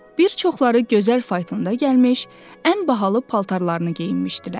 Bir çoxları gözəl faytonda gəlmiş, ən bahalı paltarlarını geyinmişdilər.